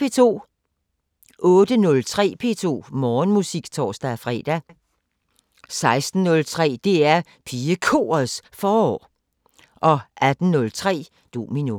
08:03: P2 Morgenmusik (tor-fre) 16:03: DR PigeKorets Forår 18:03: Domino